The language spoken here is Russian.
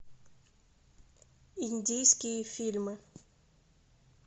индийские фильмы